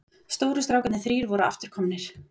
Stóru strákarnir þrír voru aftur komnir.